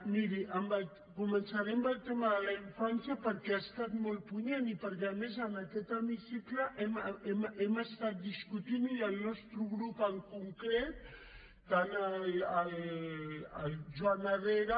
miri començaré amb el tema de la infància perquè ha estat molt punyent i perquè a més en aquest hemicicle l’hem discutit i el nostre grup en concret tant el joan herrera